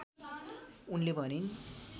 उनले भनिन्